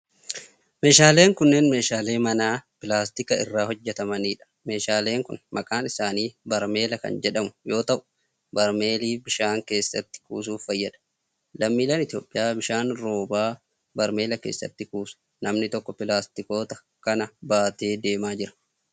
Meeshaaleen unneen meeshaalee manaa pilaastika irraa hojjatmanii dha. Meeshaaleen kun maqaan isaanii barmeela kan jedhmu yoo ta'u, barmeelli bishaan keessatti kuusuf fayyada. Lammiileen Itoophiyaa bishaan roobaa barmeela keessatti kuusu. Namni tokko pilaastikoota kana baatee deemaa jira.